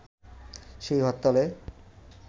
সেই হরতালে